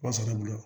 Wa sɔrɔ ne bolo